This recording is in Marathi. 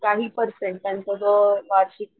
काही पर्सेंट त्यांचा जो वार्षिक,